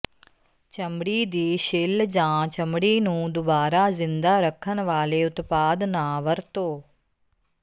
ਚਮੜੀ ਦੀ ਛਿੱਲ ਜਾਂ ਚਮੜੀ ਨੂੰ ਦੁਬਾਰਾ ਜ਼ਿੰਦਾ ਰੱਖਣ ਵਾਲੇ ਉਤਪਾਦ ਨਾ ਵਰਤੋ